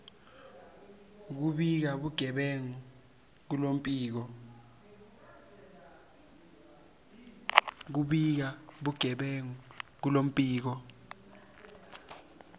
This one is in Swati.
kubika bugebengu kuluphiko